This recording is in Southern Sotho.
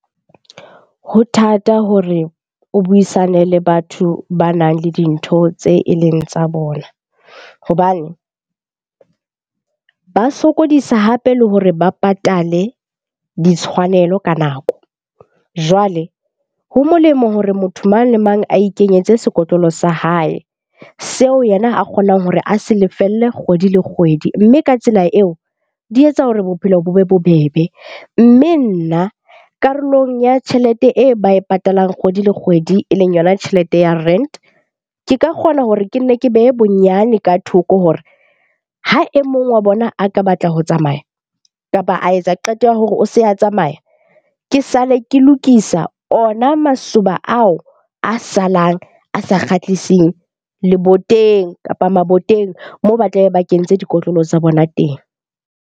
Ho thata hore o buisane le batho banang le dintho tse e leng tsa bona hobane ba sokodisa hape le hore ba patale ditshwanelo ka nako. Jwale ho molemo hore motho mang le mang a ikenyetse sekotlolo sa hae, seo yena a kgonang hore a se lefelle kgwedi le kgwedi. Mme ka tsela eo, di etsa hore bophelo bo be bobebe. Mme nna, karolong ya tjhelete e ba e patalang kgwedi le kgwedi e leng yona tjhelete ya rent. Ke ka kgona hore ke nne ke behe bonyane ka thoko hore ha e mong wa bona a ka batla ho tsamaya, kapa a etsa qeto ya hore o se a tsamaya. Ke sale ke lokisa ona masoba ao a salang a sa kgahliseng leboteng, kapa maboteng moo ba tlabe ba kentse dikotlolo tsa bona teng.